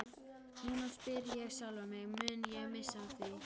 Núna spyr ég sjálfan mig, mun ég missa af því?